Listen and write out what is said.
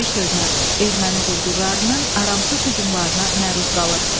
Bir sözlə, erməni quldurlarının aramsız hücumlarına məruz qalır.